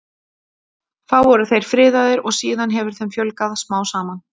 þá voru þeir friðaðir og síðan hefur þeim fjölgað smám saman